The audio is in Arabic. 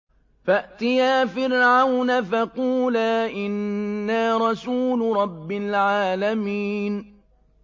فَأْتِيَا فِرْعَوْنَ فَقُولَا إِنَّا رَسُولُ رَبِّ الْعَالَمِينَ